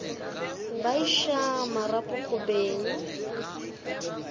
ba iša marapo go beng